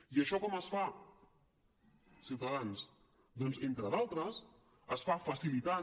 i això com es fa ciutadans doncs entre d’altres es fa facilitant